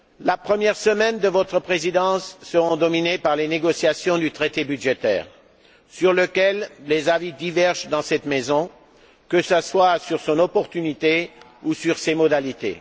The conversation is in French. La première semaine de votre Présidence sera dominée par les négociations du traité budgétaire, sur lequel les avis divergent dans cette maison, que ce soit quant à son opportunité ou ses modalités.